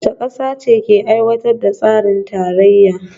Wace kasa ce ke aiwatar da tsarin tarayya?